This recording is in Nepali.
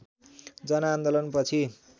जनआन्दोलन पछि